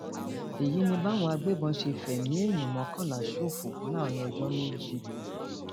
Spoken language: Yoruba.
èyí ni báwọn agbébọn ṣe fẹmí èèyàn mọkànlá ṣòfò láàrin ọjọ méjì